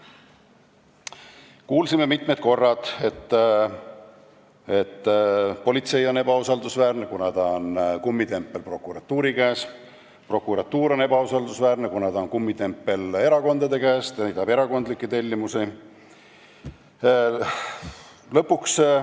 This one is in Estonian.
Kuulsime mitu korda, et politsei on ebausaldusväärne, kuna ta on kummitempel prokuratuuri käes, prokuratuur on ebausaldusväärne, kuna ta on kummitempel erakondade käes ja täidab erakondlikke tellimusi.